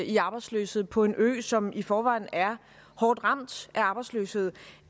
i arbejdsløshed på en ø som i forvejen er hårdt ramt af arbejdsløshed